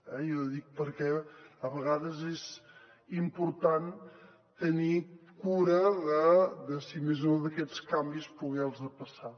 jo ho dic perquè a vegades és important tenir cura si més no aquests canvis poder los passar